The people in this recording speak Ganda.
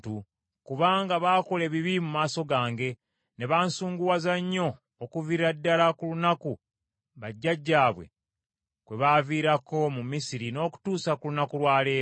kubanga baakola ebibi mu maaso gange, ne bansunguwaza nnyo okuviira ddala ku lunaku bajjajjaabwe kwe baaviirako mu Misiri n’okutuusa ku lunaku lwa leero.’ ”